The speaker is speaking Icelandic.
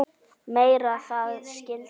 Með það skildu þeir.